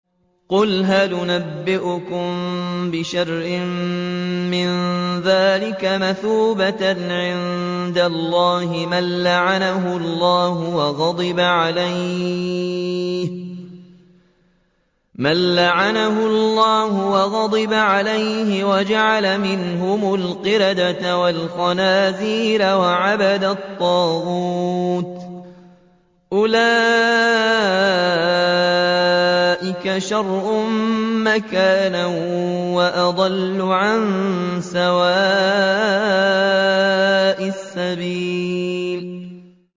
قُلْ هَلْ أُنَبِّئُكُم بِشَرٍّ مِّن ذَٰلِكَ مَثُوبَةً عِندَ اللَّهِ ۚ مَن لَّعَنَهُ اللَّهُ وَغَضِبَ عَلَيْهِ وَجَعَلَ مِنْهُمُ الْقِرَدَةَ وَالْخَنَازِيرَ وَعَبَدَ الطَّاغُوتَ ۚ أُولَٰئِكَ شَرٌّ مَّكَانًا وَأَضَلُّ عَن سَوَاءِ السَّبِيلِ